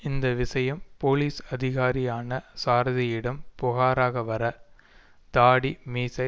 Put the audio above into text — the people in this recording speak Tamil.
இந்த விஷயம் போலீஸ் அதிகாரியான சாரதியிடம் புகாராக வர தாடி மீசை